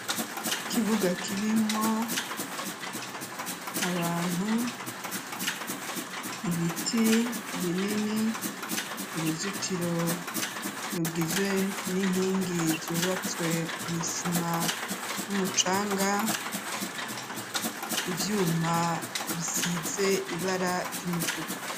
Ikibuga kirimwo abantu ibiti binini uruzitiro rugizwe n'inkingi zubatswe n’isima n'umucanga ivyuma bisize ibara ry'umutuku.